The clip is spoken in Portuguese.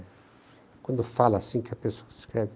Quando fala assim que a pessoa escreve